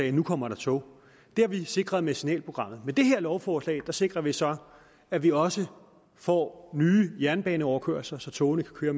at nu kommer der tog det har vi nu sikret med signalprogrammet med det her lovforslag sikrer vi så at vi også får nye jernbaneoverkørsler så togene kan køre